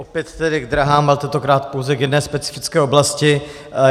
Opět tedy k dráhám a tentokrát pouze k jedné specifické oblasti.